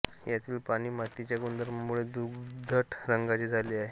यातील पाणी मातीच्या गुणधर्मामुळे दुधट रंगाचे झाले आहे